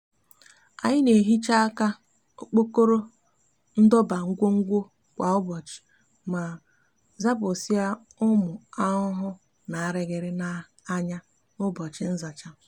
anyi n'ehicha aka okpokoro ndoba ngwogwo kwa ubochi ma zapusia umu ahuhu na ariri n'aya n'ubochi nzacha